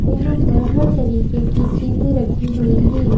यहां पर हर तरीके की चीजें रखी हुई हैं ।